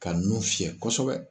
Ka nun fiyɛ kosɛbɛ.